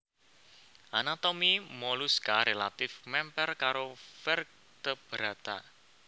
Anatomi moluska relatif mèmper karo vertebrata